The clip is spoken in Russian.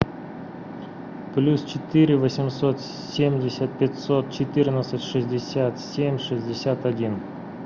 плюс четыре восемьсот семьдесят пятьсот четырнадцать шестьдесят семь шестьдесят один